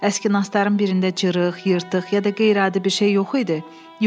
Əski nastların birində cırıq, yırtıq ya da qeyri-adi bir şey yox idi?